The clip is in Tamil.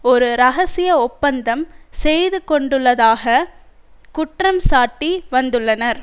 ஒரு இரகசிய ஒப்பந்தம் செய்துகொண்டுள்ளதாக குற்றம்சாட்டி வந்துள்ளனர்